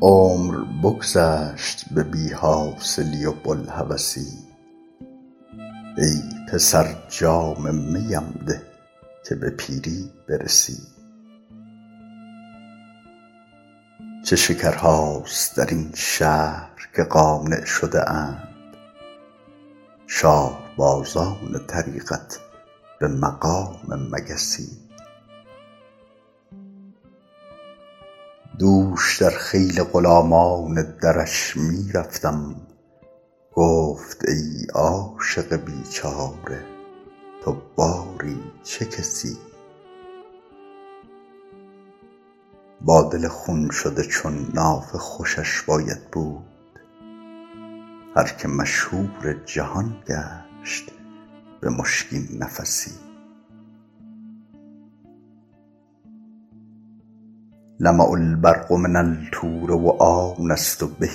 عمر بگذشت به بی حاصلی و بوالهوسی ای پسر جام می ام ده که به پیری برسی چه شکرهاست در این شهر که قانع شده اند شاه بازان طریقت به مقام مگسی دوش در خیل غلامان درش می رفتم گفت ای عاشق بیچاره تو باری چه کسی با دل خون شده چون نافه خوشش باید بود هر که مشهور جهان گشت به مشکین نفسی لمع البرق من الطور و آنست به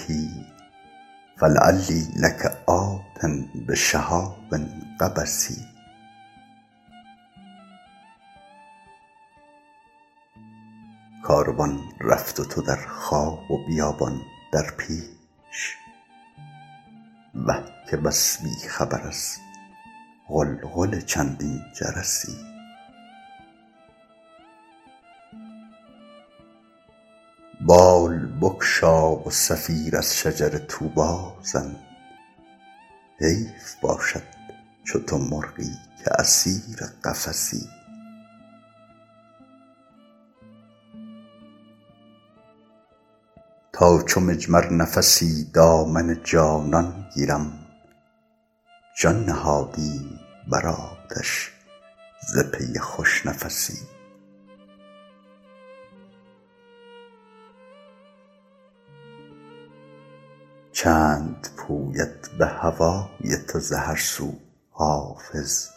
فلعلی لک آت بشهاب قبس کاروان رفت و تو در خواب و بیابان در پیش وه که بس بی خبر از غلغل چندین جرسی بال بگشا و صفیر از شجر طوبی زن حیف باشد چو تو مرغی که اسیر قفسی تا چو مجمر نفسی دامن جانان گیرم جان نهادیم بر آتش ز پی خوش نفسی چند پوید به هوای تو ز هر سو حافظ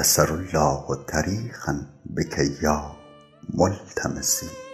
یسر الله طریقا بک یا ملتمسی